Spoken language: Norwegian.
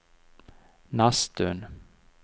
Nesttun